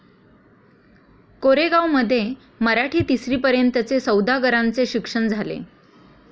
कोरेगांवमध्ये मराठी तिसरीपर्यंतचे सौदागरांचे शिक्षण झाले.